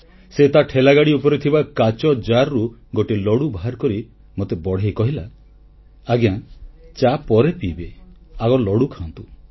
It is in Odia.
ସେ ତା ଠେଲାଗାଡ଼ି ଉପରେ ଥିବା କାଚ ଜାରରୁ ଗୋଟିଏ ଲଡ଼ୁ ବାହାର କରି ମୋତେ ବଢ଼େଇ କହିଲା ଆଜ୍ଞା ଚା ପରେ ପିଇବେ ଆଗ ଲଡୁ ଖାଆନ୍ତୁ